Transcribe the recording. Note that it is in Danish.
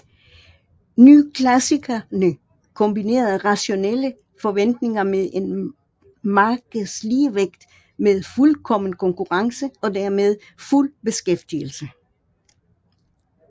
Nyklassikerne kombinerede rationelle forventninger med en markedsligevægt med fuldkommen konkurrence og dermed fuld beskæftigelse